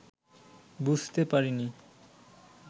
বুঝতে পারেননি